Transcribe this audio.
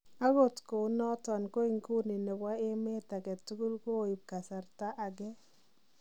Agot kounoton ko inguni nebo emet agetugul kooib kasarata ageei.